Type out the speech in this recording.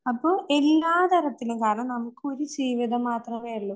അപ്പോ എല്ലാതരത്തിലും കാരണം നമുക്കൊരു ജീവിതം മാത്രമേയുള്ളൂ.